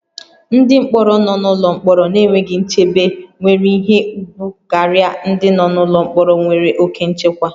Ndị mkpọrọ nọ n'ụlọ mkpọrọ na-enweghị nchebe nwere ihe ùgwù karịa ndị nọ n'ụlọ mkpọrọ nwere oke nchekwa